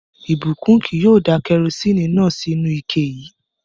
Ìbùkún kì yóò da kẹrosíni náà sínú u ike yii